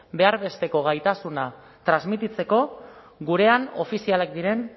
behar besteko gaitasuna transmititzeko gurean ofizialak diren